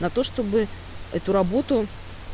на то чтобы эту работу